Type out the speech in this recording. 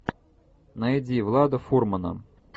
найди влада фурмана